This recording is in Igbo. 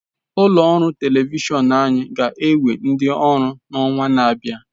Ụlọ ọrụ telivishọn anyị ga-ewe ndi ọrụ n'ọnwa na-abịa.